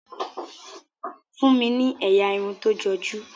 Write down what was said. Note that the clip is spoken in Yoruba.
fún mí ní ẹyà Irun tó joju.